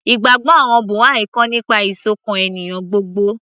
ìgbàgbọ́ àwọn Buha'i kọ́ nípa ìsọ̀kan ènìyàn gbogbo